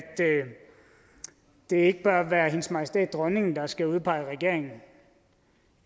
det ikke bør være hendes majestæt dronningen der skal udpege regeringen